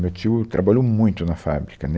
Meu tio trabalhou muito na fábrica, né